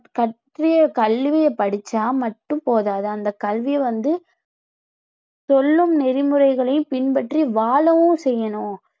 கற்ற கல்வியை படிச்சா மட்டும் போதாது அந்த கல்வி வந்து சொல்லும் நெறிமுறைகளையும் பின்பற்றி வாழவும் செய்யணும்